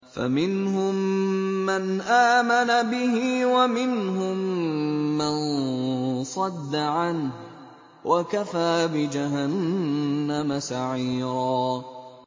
فَمِنْهُم مَّنْ آمَنَ بِهِ وَمِنْهُم مَّن صَدَّ عَنْهُ ۚ وَكَفَىٰ بِجَهَنَّمَ سَعِيرًا